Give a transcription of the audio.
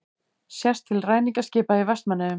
Sést til ræningjaskipa í Vestmannaeyjum.